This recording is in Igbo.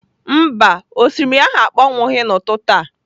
Mba, osimiri ahụ akpọnwụghị n'ụtụtụ a.